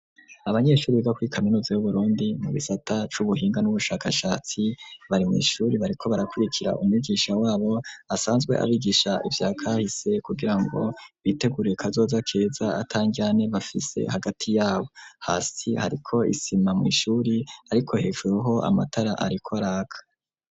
Abanyeshuri biga kuri kaminuza y'Uburundi mu gisata c'ubuhinga n'ubushakashatsi bari mw,ishuri bariko barakurikira umwigisha wabo asanzwe abigisha ivyakahise kugira ngo bitegurire kazoza keza atandyane bafise hagati yabo, hasi hariko isima mw'ishuri, ariko hejurero amatara ariko raka.